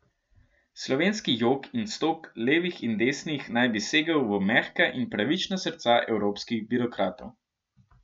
Slovenski jok in stok, levih in desnih, naj bi segel v mehka in pravična srca evropskih birokratov.